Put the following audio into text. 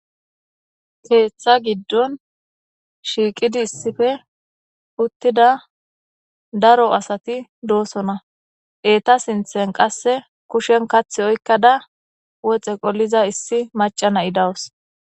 keeththa giddon shiiqidi issife uttida daro asati doosona eeta sinthen qasse kushen kath oykkada woxe qoliza issi maca na7i dawus